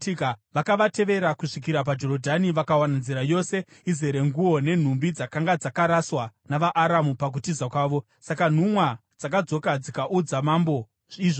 Vakavatevera kusvikira paJorodhani, vakawana nzira yose izere nguo nenhumbi dzakanga dzakaraswa navaAramu pakutiza kwavo. Saka nhumwa dzakadzoka dzikaudza mambo izvozvo.